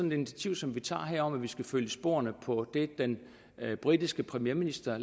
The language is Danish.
et initiativ som vi tager her om at vi skal følge i sporene på det den britiske premierminister